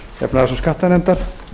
efnahags og skattanefndar